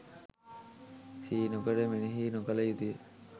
සිහි නොකොට මෙනෙහි නොකළ යුතුය.